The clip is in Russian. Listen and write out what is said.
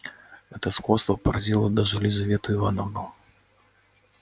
это сходство поразило даже лизавету ивановну